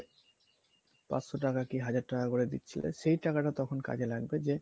পাঁচশোটাকা বা হাজার টাকা করে দিচ্ছিলে সেই টাকাটা তখন কাজে লাগবে যে